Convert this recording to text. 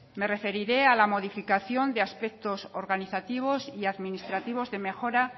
me referiré a la modificación de aspectos organizativos y administrativos de mejora